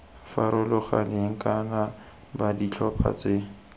farologaneng kana b ditlhopha tse